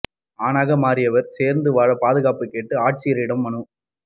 ஆணாக மாறியவர் சேர்ந்து வாழ பாதுகாப்பு கேட்டு ஆட்சியரிடம் மனு